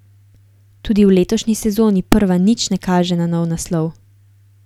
Tudi v letošnji sezoni prva nič ne kaže na nov naslov.